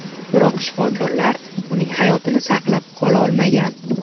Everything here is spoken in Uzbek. Biroq shifokorlar uning hayotini saqlab qola olmagan.